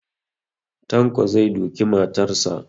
Tanko zai duki matarsa